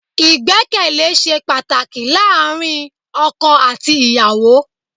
Ìgbẹ́kẹ̀lé ṣe pàtàkì láàárín ọkọ àti ìyàwó.